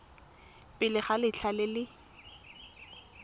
pele ga letlha le le